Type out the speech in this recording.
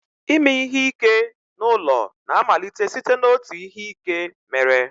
Ime ihe ike n'ụlọ na-amalite site n'otu ihe ike mere